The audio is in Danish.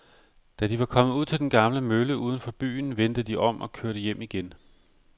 Da de var kommet ud til den gamle mølle uden for byen, vendte de om og kørte hjem igen.